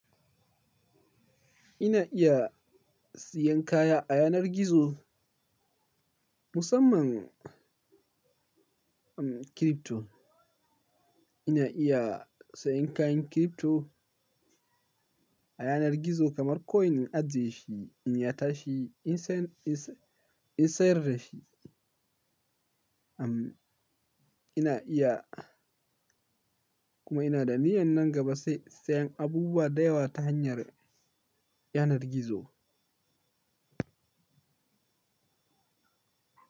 Ina iya siyan kaya a yanar gizo musamman crypto. Ina iya sayen kayan crypto a yanar gizo kamar coin in ajiye shi, in ya tashi in sayar da shi. Ina iya kuma ina da niyyar nan gaba sai sayan abubuwa da yawa ta hanyar yanar gizo.